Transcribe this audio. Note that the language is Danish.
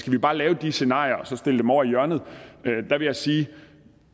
vi bare lave de scenarier og så stille dem over i hjørnet der vil jeg sige